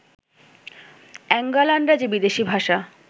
অ্যাঙ্গোলানরা যে বিদেশী ভাষা